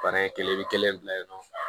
Bana in kelen bɛ kelen bila yen nɔ